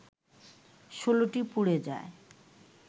১৬টি পুড়ে যায়